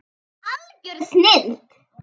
Algjör snilld.